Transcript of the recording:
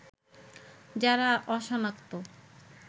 যারা অসনাক্ত